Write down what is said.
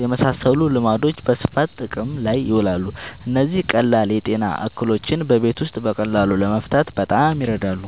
የመሳሰሉ ልማዶች በስፋት ጥቅም ላይ ይውላሉ። እነዚህ ቀላል የጤና እክሎችን በቤት ውስጥ በቀላሉ ለመፍታት በጣም ይረዳሉ።